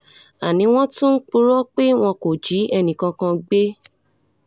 àní wọ́n tún ń purọ́ pé wọn kò jí ẹnìkankan gbé